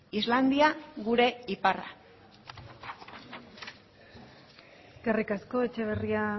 islandia gure iparra eskerrik asko etxeberria